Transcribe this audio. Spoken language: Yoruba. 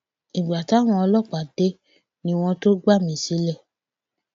ìgbà táwọn ọlọpàá dé ni wọn tóó gbà mí sílẹ